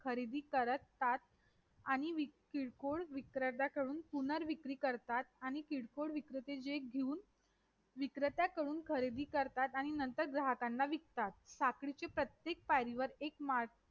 खरेदी करतात आणि किरकोळ विक्रेत्याकडून पुनःर विकारी करतात आणि किरकोळ विक्रेते जे घेऊन विक्रेत्याकडून खरेदी करतात आणि नंतर ग्राहकांना विकतात साखळीच्या प्रत्येक पायरीवर एक